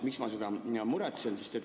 Miks ma selle pärast muretsen?